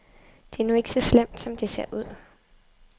Det er nu ikke så slemt, som det ser ud.